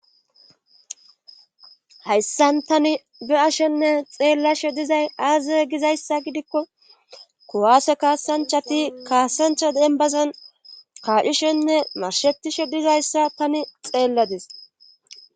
hayssan tani be ashenne xeellashe dizay aaze gizayssa gidikko kuwaase kaasanchati kaasancha dembazon kaachishenne marshetishe dizayssa tani xeelladis